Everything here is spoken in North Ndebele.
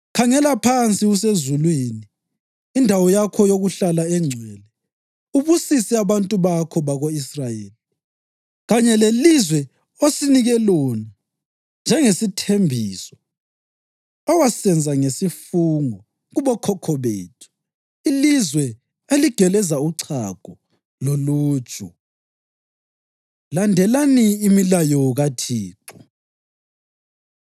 Khangela phansi usezulwini, indawo yakho yokuhlala engcwele, ubusise abantu bakho bako-Israyeli kanye lelizwe osinike lona njengesithembiso owasenza ngesifungo kubokhokho bethu, ilizwe eligeleza uchago loluju.’ ” Landelani Imilayo KaThixo